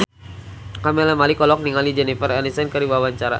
Camelia Malik olohok ningali Jennifer Aniston keur diwawancara